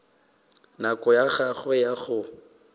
nako ya gagwe ya go